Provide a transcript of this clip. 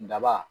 Daba